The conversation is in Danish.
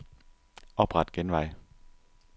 Opret genvej.